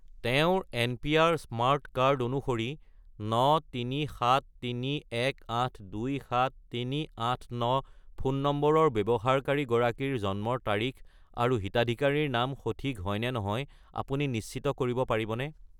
তেওঁৰ NPR. Smart card অনুসৰি 93731827389 phone নম্বৰৰ ব্যৱহাৰকাৰী গৰাকীৰ জন্মৰ তাৰিখ আৰু হিতাধিকাৰীৰ নাম সঠিক হয়নে নহয় আপুনি নিশ্চিত কৰিব পাৰিবনে?